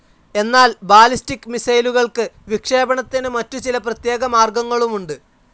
എന്നാൽ ബാലിസ്റ്റിക്‌ മിസൈലുകൾക്ക് വിക്ഷേപണത്തിന് മറ്റു ചില പ്രത്യേക മാർഗങ്ങളുമുണ്ട്.